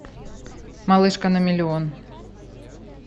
малышка на миллион